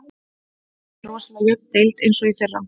Þetta er rosalega jöfn deild eins og í fyrra.